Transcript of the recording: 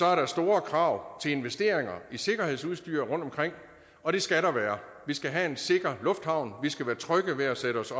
er der store krav til investeringer i sikkerhedsudstyr rundtomkring og det skal der være vi skal have en sikker lufthavn vi skal være trygge ved at sætte os